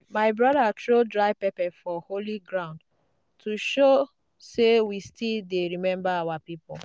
my brother throw dry pepper for holy ground to show say we still dey remember our people.